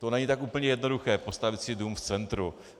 To není tak úplně jednoduché postavit si dům v centru.